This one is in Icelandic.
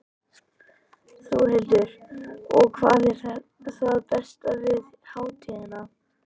Þórhildur: Og hvað er það besta við hátíðina?